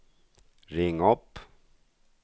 ring upp